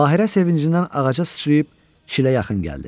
Bahirə sevincindən ağaca sıçrayıb Çilə yaxın gəldi.